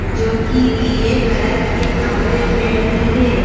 जोकि पीले कलर के कपड़े पहनी है।